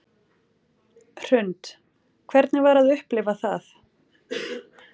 Hrund: Hvernig var að upplifa það?